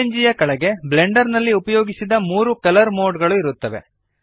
PNG ಯ ಕೆಳಗೆ Blender ನಲ್ಲಿ ಉಪಯೋಗಿಸಿದ ಮೂರು ಕಲರ್ ಮೋಡ್ ಗಳು ಇರುತ್ತವೆ